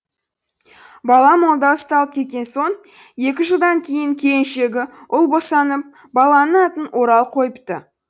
бала молда ұсталып кеткен соң екі жылдан кейін келіншегі ұл босанып баланың атын орал қойыпты